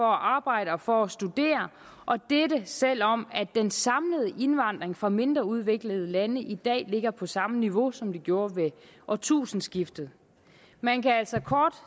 arbejde og for at studere dette selv om den samlede indvandring fra de mindre udviklede lande i dag ligger på samme niveau som den gjorde ved årtusindskiftet man kan altså kort